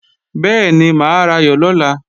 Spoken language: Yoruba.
Bẹ́ẹ̀ni, mà á rayọ̀ lọ́la